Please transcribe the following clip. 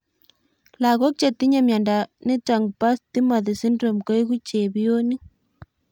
Lagók chetinye miondo nitok po Timothy syndrome koeku chepionik